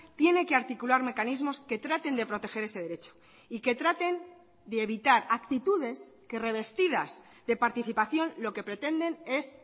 tiene que articular mecanismos que traten de proteger ese derecho y que traten de evitar actitudes que revestidas de participación lo que pretenden es